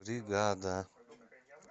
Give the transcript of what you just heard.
бригада